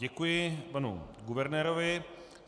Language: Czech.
Děkuji panu guvernérovi.